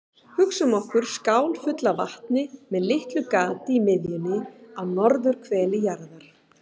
Hugsum okkur skál fulla af vatni með litlu gati í miðjunni á norðurhveli jarðar.